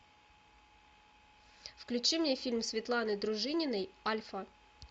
включи мне фильм светланы дружининой альфа